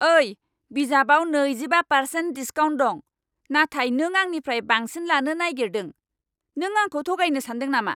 ओइ! बे बिजाबाव नैजिबा पारसेन्ट डिसकाउन्ट दं, नाथाय नों आंनिफ्राय बांसिन लानो नागेरदों। नों आंखौ थगायनो सानदों नामा?